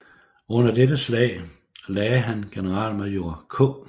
Under dette slag lagde han generalmajor K